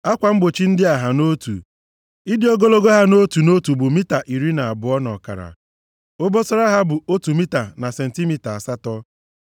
Akwa mgbochi ndị a ha nʼotu. Ịdị ogologo ha nʼotu nʼotu bụ mita iri na abụọ na ọkara. Obosara ha bụ otu mita na sentimita asatọ.